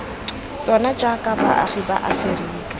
tsona jaaka baagi ba aferika